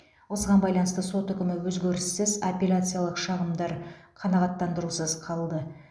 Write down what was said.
осыған байланысты сот үкімі өзгеріссіз апелляциялық шағымдар қанағаттандырусыз қалдырылды